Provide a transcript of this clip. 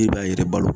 E b'a yɛrɛ balo